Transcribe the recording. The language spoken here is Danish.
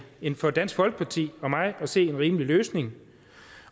en for dansk folkeparti og mig at se rimelig løsning